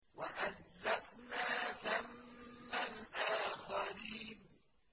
وَأَزْلَفْنَا ثَمَّ الْآخَرِينَ